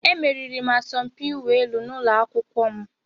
Emeriri m asọmpi ịwụ elu n'ụlọ akwụkwọ m.